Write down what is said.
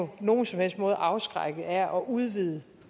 på nogen som helst måde afskrækket af at udvide